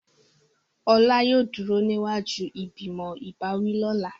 Ola yóò duro niwaju ìgbìmọ̀ ìbáwí lọla.